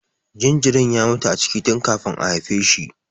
Jinjirin ya mutu a ciki tun kafin a haife shi.